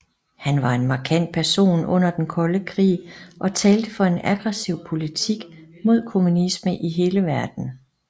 Han var en markant person under den kolde krig og talte for en aggressiv politik mod kommunisme i hele verden